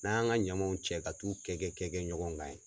N'an ya an ka ɲamanw cɛ ka t'u kɛ kɛ kɛ kɛ ɲɔgɔn kan ye.